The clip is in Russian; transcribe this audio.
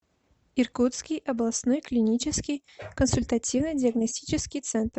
иркутский областной клинический консультативно диагностический центр